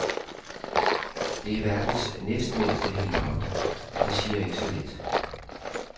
Det er verdens næstmindste helikopter, og det siger ikke så lidt.